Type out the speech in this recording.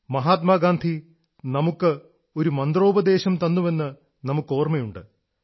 മഹാത്മാഗാന്ധി നമുക്ക് ഒരു മന്ത്രോപദേശം തന്നുവെന്ന് നമുക്കോർമ്മയുണ്ട്